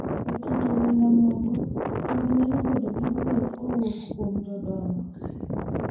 E kit oganda moko, timbe nyalo bedo gi gweth kowuok kuom jodongo,